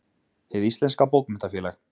Hið íslenska bókmenntafélag